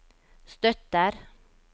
støtter